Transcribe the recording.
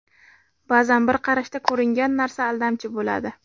Ba’zan bir qarashda ko‘ringan narsa aldamchi bo‘ladi.